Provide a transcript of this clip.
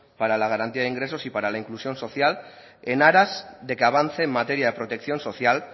para la garantía de ingresos y para la inclusión social en aras de que avance en materia de protección social